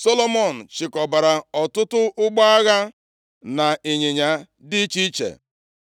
Solomọn chịkọbara ọtụtụ ụgbọ agha na ịnyịnya dị iche iche.